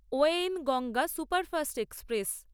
Wayne Ganga superfast express